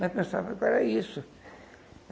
Mas pensava que era isso.